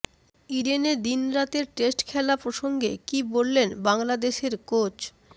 ইডেনে দিন রাতের টেস্ট খেলা প্রসঙ্গে কী বললেন বাংলাদেশের কোচ